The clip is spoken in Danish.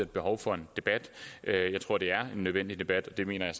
behovet for en debat jeg jeg tror det er en nødvendig debat og det mener jeg